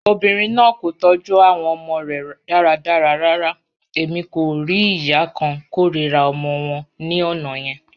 Obinrin naa ko tọju awọn ọmọ rẹ daradara rara, Emi ko rii iya kan korira ọmọ wọn ni ọna yẹn.